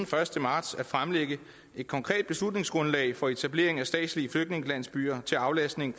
første marts at fremlægge et konkret beslutningsgrundlag for etablering af statslige flygtningelandsbyer til aflastning